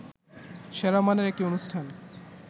সেরা মানের একটি অনুষ্ঠান